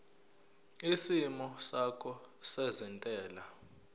isimo sakho sezentela